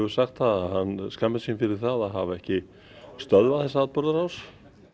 sagt það að hann skammist sín fyrir það að hafa ekki stöðvað þessa atburðarás